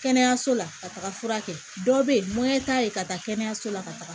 Kɛnɛyaso la ka taga fura kɛ dɔw bɛ yen t'a ye ka taa kɛnɛyaso la ka taga